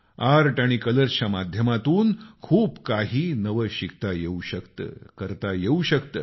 art आणि colours च्या माध्यमातून खूप काही ही नवं शिकता येऊ शकतं करता येऊ शकतं